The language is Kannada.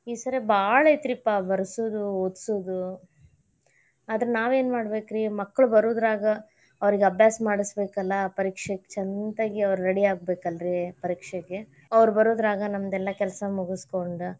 ಈ ಸರೇ ಬಾಳ್ ಐತರೀಪಾ ಬರ್ಸುದು ಒದಸುದು, ಆದ್ರ ನಾವೇನ್ ಮಾಡ್ಬೇಕರಿ ಮಕ್ಕಳ ಬರುದ್ರಾಗ ಅವ್ರಿಗ ಅಭ್ಯಾಸ ಮಾಡಸಬೇಕಲ್ಲಾ ಪರೀಕ್ಷೆಗ್ ಅವ್ರ ಚಂತಗೆ ready ಆಗ್ಬೇಕಲ್ಲಾರೀ, ಪರೀಕ್ಷೆಗೆ ಅವ್ರ ಬರುದ್ರಾಗ ನಮ್ದ್ ಎಲ್ಲಾ ಕೆಲಸಾ ಮುಗಸ್ಕೊಂಡ.